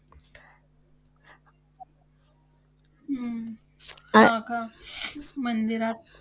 हम्म आ~ आ~ मंदिरात